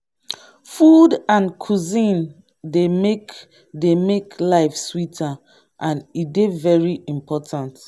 food and cuisine dey make dey make life sweeter and e dey very important.